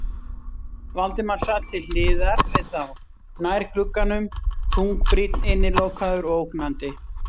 Valdimar sat til hliðar við þá, nær glugganum, þungbrýnn, innilokaður og ógnandi.